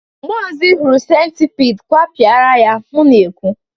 mgbe ọzọ ị hụrụ centipide gwepịara ya m na-ekwu!